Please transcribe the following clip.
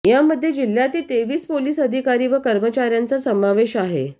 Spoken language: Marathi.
यामध्ये जिह्यातील तेवीस पोलिस अधिकारी व कर्मचाऱयांचा समावेश आहे